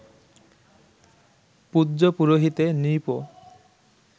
পূজ্য পুরোহিতে নৃপ